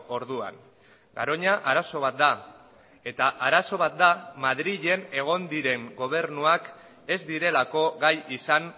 orduan garoña arazo bat da eta arazo bat da madrilen egon diren gobernuak ez direlako gai izan